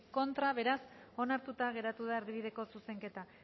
contra beraz onartuta geratu da erdibideko zuzenketa